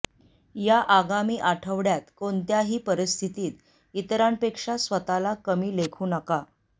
या आगामी आठवड्यात कोणत्याही परिस्थितीत इतरांपेक्षा स्वतःला कमी लेखू नका